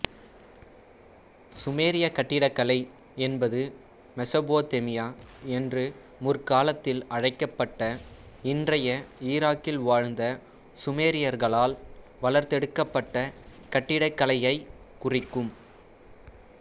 சுமேரியக் கட்டிடக்கலை என்பது மெசொப்பொத்தேமியா என்று முற்காலத்தில் அழைக்கப்பட்ட இன்றைய ஈராக்கில் வாழ்ந்த சுமேரியர்களால் வளர்த்தெடுக்கப்பட்ட கட்டிடக்கலையைக் குறிக்கும்